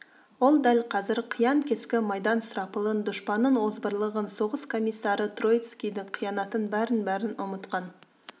ол дәл қазір қиян-кескі майдан сұрапылын дұшпанның озбырлығын соғыс комиссары троцкийдің қиянатын бәрін-бәрін ұмытқан